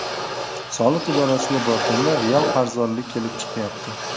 Soliq idorasiga borganda real qarzdorlik kelib chiqyapti.